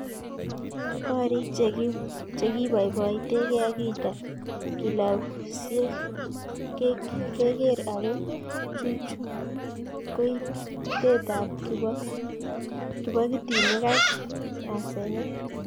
Gorik che kiboiboitekei ak kilabusiek keker ako chuchuch koitetab kibogitinik ak asenet